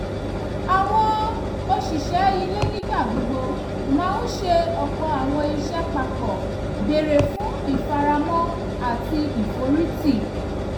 àwọn òṣìṣẹ́ ilé nígbà gbogbo máa ń ṣe ọ̀pọ̀ àwọn iṣẹ́ papọ̀ béré fún ìfaramọ́ àti ìforìtì